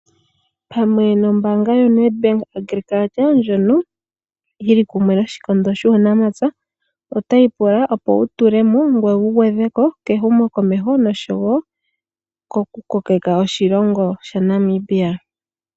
Pamwe nombaanga yoNEDBANK ndjono yili kumwe noshikondo shuunamapya otayi pula wutule mo ngoye wugwedhe mo kehumokomeho noshowo koku kokeka oshilongo shaNamibia.